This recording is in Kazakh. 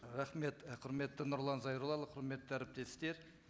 рахмет і құрметті нұрлан зайроллаұлы құрметті әріптестер